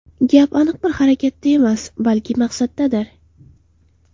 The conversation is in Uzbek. Gap aniq bir harakatda emas, balki maqsaddadir.